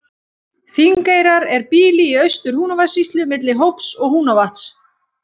Þingeyrar er býli í Austur-Húnavatnssýslu milli Hóps og Húnavatns.